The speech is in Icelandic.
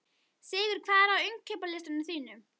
Sigur, hvað er á innkaupalistanum mínum?